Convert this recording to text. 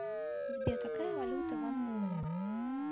сбер какая валюта в анголе